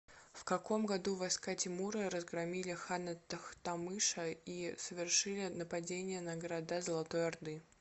в каком году войска тимура разгромили хана тохтамыша и совершили нападение на города золотой орды